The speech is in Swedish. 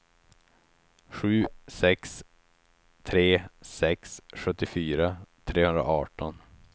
sju sex tre sex sjuttiofyra trehundraarton